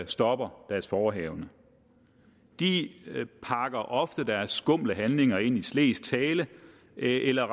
stopper deres forehavende de pakker ofte deres skumle handlinger ind i slesk tale eller